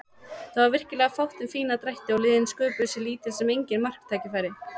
Það var virkilega fátt um fína drætti og liðin sköpuðu sér lítil sem engin marktækifæri.